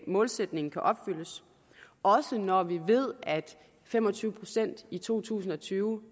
målsætningen kan opfyldes også når vi ved at fem og tyve procent i to tusind og tyve